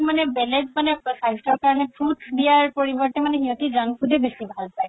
মানে বেলেগ মানে স্বাস্থ্যৰ কাৰণে fruits দিয়াৰ পৰিবৰ্তে মানে সিহতি junk food য়ে বেচি ভাল পাই